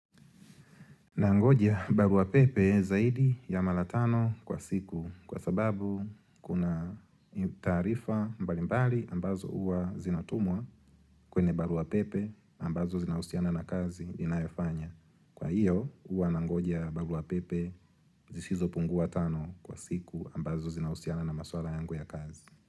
Nangoja barua pepe zaidi ya mara tano kwa siku kwa sababu kuna taarifa mbalimbali ambazo huwa zinatumwa kwenye barua pepe ambazo zinahusiana na kazi ninayofanya. Kwa hiyo huwa nangoja barua pepe zisizopungua tano kwa siku ambazo zinahusiana na maswala yangu ya kazi.